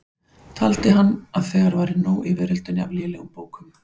Taldi hann að þegar væri nóg í veröldinni af lélegum bókum.